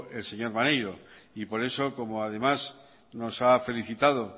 el señor maneiro por eso como además nos ha felicitado